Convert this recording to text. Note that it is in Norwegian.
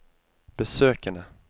besøkene